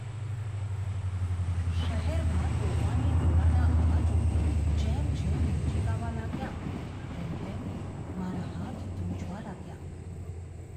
શહેરમાં તોફાની ટોળાના અવાજો જેમ જેમ નજીક આવવા લાગ્યા, તેમ તેમ મારા હાથ ધ્રૂજવા લાગ્યા.